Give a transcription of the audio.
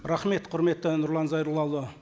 рахмет құрметті нұрлан зайроллаұлы